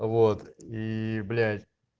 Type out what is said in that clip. вот и блять